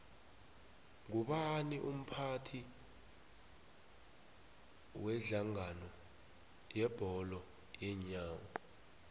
ngubani umphathi wedlangano yebholo yeenyawo